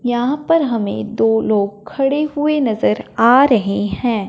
यहां पर हमें दो लोग खड़े हुए नजर आ रहे हैं।